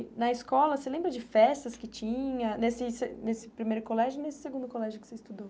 E na escola, você lembra de festas que tinha nesse se nesse primeiro colégio e nesse segundo colégio que você estudou?